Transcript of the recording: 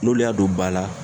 N'olu y'a don ba la